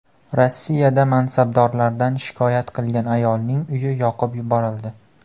Rossiyada mansabdorlardan shikoyat qilgan ayolning uyi yoqib yuborildi.